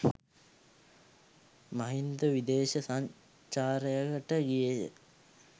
මහින්ද විදේශ සංචාරයකට ගියේය.